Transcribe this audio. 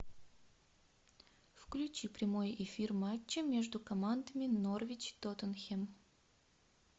включи прямой эфир матча между командами норвич тоттенхэм